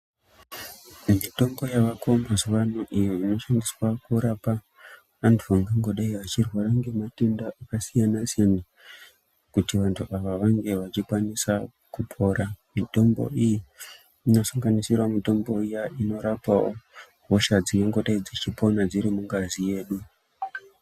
Mitombo yaako mazuwa ano iyo inoshandiswa kurapa antu angangodai achirwara ngematenda akasiyanasiyana kuti vantu ava vange vachikwanisa kupora mitombo iyi inosanganisira mitombo iya inorapawo hosha dzingangodai dzeipona dziri mungazi yedu.